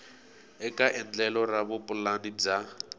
eka endlelo ra vupulani bya